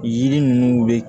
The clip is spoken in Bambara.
Yiri ninnu bɛ